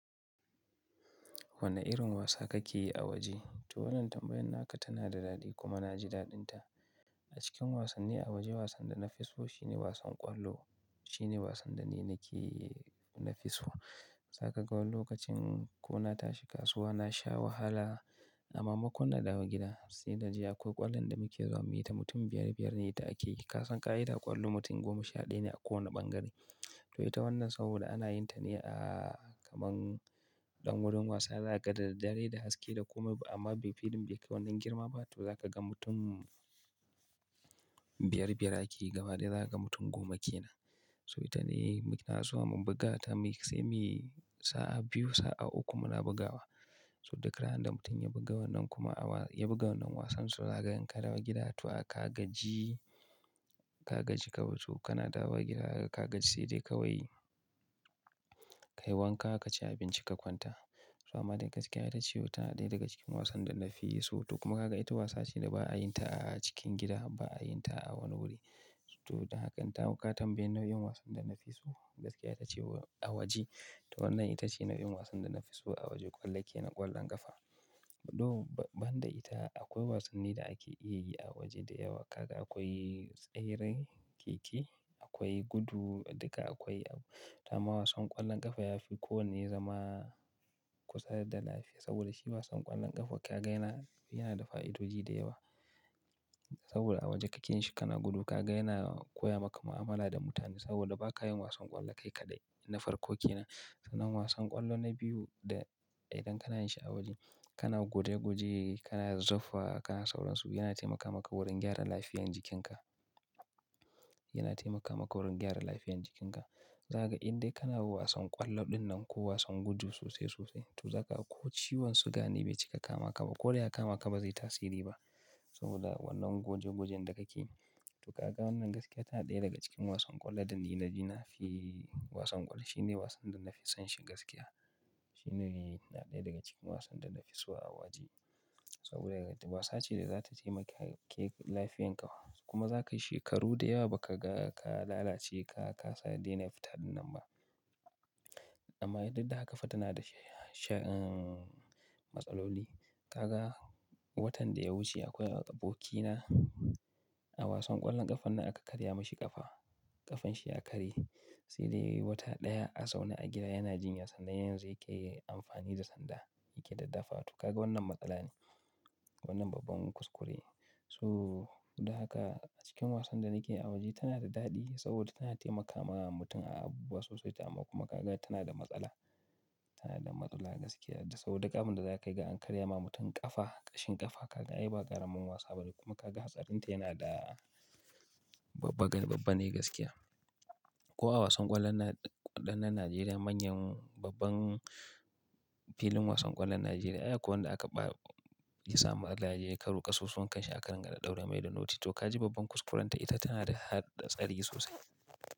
Wane irin wasa kake yi a waje? To wannan tambayan naka tana da daɗi kuma na ji daɗinta. A cikin wasannin a waje wasan da na fi so shine wasan ƙwallo. Shine wasan da ni nake nafi so. Zaka ga wani lokacin ko na tashi kasuwa na sha wahala, mai makon na dawo gida sai naje akwai ƙwallon da muke zuwa mu yi ta mutum biyar biyar ne ita akeyi Kasan ƙa'ida ƙwallo mutum goma sha ɗaya ne a kowane ɓangare. To ita wannan saboda ana yin ta ne a kaman ɗan wurin wasa, za ka ga da dare da haske da komai amma bai filin bai kai wannan girma ba. To za ka ga mutum biyar biyar akeyi gabaya za ka ga mutum goma ke nan. So ita ne muke zuwa mu buga ta sai mu yi sa'a biyu, sa'a uku muna bugawa. So duk ranar da mutum ya buga wannan kuma ya buga wannan wasan, to za ka ga in ka dawo gida, to a ka gaji, ka gaji ka mutu. Kana dawo gida ka gaji sai dai ka yi wanka, ka ci abinci ka kwanta. To amma daga cikin ita ce wata ɗaya daga cikin wasan da na fi so. To kuma ka ga ita wasa ce da ba a yin ta a cikin gida ba, a yin ta a wani wuri. To don haka in ta haka ka tambayi nau'in wasan da na fi so, gaskiya ita ce a waje. To wannan ita ce nau'in wasan da na fi so a waje, ƙwallo ke nan ƙwallon ƙafa. To ban da ita akwai wasannin da ake iya yi a waje da yawa. Kaga akwai tseren keke akwai gudu duka akwai. To amma wasan ƙwallon ƙafa ya fi kowane zama kusa da lafiya. Saboda shi wasan ƙwallon ƙaga ga yana, yana da fa'idoji da yawa. Saboda a waje kake yin shi kana gudu ka ga yana koya maka mu'amala da mutane. Saboda ba ka yin wasan ƙwallo kai kaɗai na farko ke nan. Sannan wasan ƙwallo na biyu da idan kana yin shi a waje kana guje guje, kana zuffa, kana sauran su yana taimaka maka wurin gyara lafiyan jikinka. Yana taimaka maka wurin gyara lafiyan jikinka. Zaka ga idan kana wasan ƙwallo ɗinnan ko wasan gudu sosai sosai to zaka ga ko ciwon siga ne bai cika kama ka ba ko dai ya kama ka ba zai yi tasiri ba. Saboda wannan guje gujen da kake yi. To ka ga wannan gaskiya tana ɗaya daga cikin wasan ƙwallo ɗin da ji na fi wasan ƙwallo. Shine wasan da na fi son shi gaskiya. Shine na ɗaya daga cikin wasan da na fi so a waje. Saboda wasa ce da za ta taimake lafiyan ka kuma za ka yi shekaru da yawa ba ka ga ka lalace ka kasa dena fita dinnan ba. Amma duk da haka fa tana da sha'in matsaloli. Ka ga watan da ya wuce akwai abokina a wasan ƙwallon ƙafan nan aka karya mashi ƙafa. Ƙafan shi ya karye sai da yayi wata ɗaya a zaune a gida yana jinya sannan yanzu yake amfani da sanda yake daddaffawa. To ka ga wannan matsala ne. Wannan babban kuskure. So duk da haka a cikin wasan da nake yi a waje tana da daɗi saboda tana taimaka ma mutum a abuwasu sosai amma kuma ka ga tana da matsala. Tana da matsala gaskiya saboda duk abiin da za a kai ga an karya ma mutum ƙafa, ƙashin ƙafa ka ga ai ba ƙaramin wasa bane kuma ka ga hatsarin ta yana da babba, babba ne gaskiya. Ko a wasan ƙwallon ɗannan Najeriya manyan babban filin wasan ƙwallon Najeriya akwai wanda aka ba ya samu matsala ya je yayi karo kasusuwankan shi a ka dinga ɗaura mai da noti. To ka ji babban kuskuren ta ita tana da hatsari sosai.